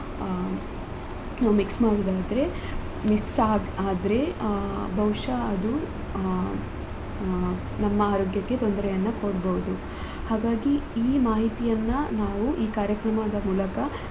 ಅ ನಾವ್ mix ಮಾಡುದಾದ್ರೆ mix ಆದರೆ ಬಹುಶಃಅದು ಅ ಅ ನಮ್ಮ ಆರೋಗ್ಯಕ್ಕೆ ತೊಂದ್ರೆಯನ್ನ ಕೊಡ್ಬೋದು ಹಾಗಾಗಿ ಈ ಮಾಹಿತಿಯನ್ನ ನಾವು ಈ ಕಾರ್ಯಕ್ರಮದ ಮೂಲಕ.